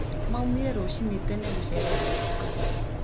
Maumire rũcinĩ tene gũcerera guka